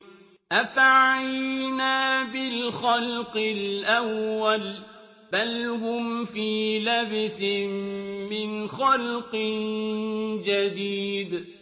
أَفَعَيِينَا بِالْخَلْقِ الْأَوَّلِ ۚ بَلْ هُمْ فِي لَبْسٍ مِّنْ خَلْقٍ جَدِيدٍ